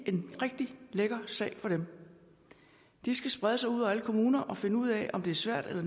en rigtig lækker sag for dem de skal sprede sig ud over alle kommuner og finde ud af om det er svært eller